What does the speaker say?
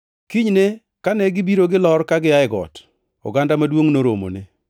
Kinyne, kane gibiro gilor gia e got, oganda maduongʼ noromone.